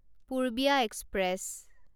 Purbiya express